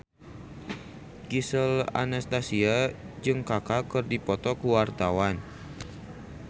Gisel Anastasia jeung Kaka keur dipoto ku wartawan